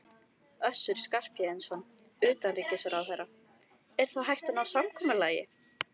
Össur Skarphéðinsson, utanríkisráðherra: Er þá hægt að ná samkomulagi?